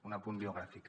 un apunt biogràfic